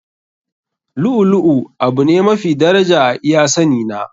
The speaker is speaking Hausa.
Lu'u lu'u abu ne mafi daraja a iya sani na.